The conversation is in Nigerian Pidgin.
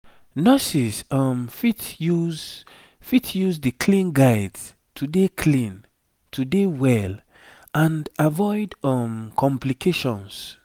nurses um fit use fit use di clean guides to dey clean to dey well and avoid um complications